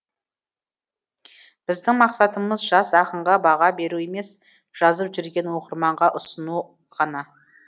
біздің мақсатымыз жас ақынға баға беру емес жазып жүргенін оқырманға ұсыну ғана